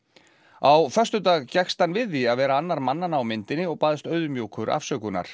á föstudag gekkst hann við því að vera annar mannanna á myndinni og baðst auðmjúkur afsökunar